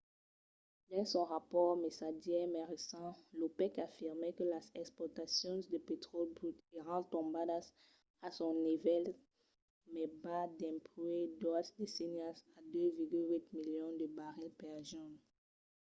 dins son rapòrt mesadièr mai recent l’opec afirmèt que las exportacions de petròli brut èran tombadas a son nivèl mai bas dempuèi doas decennias a 2,8 milions de barrils per jorn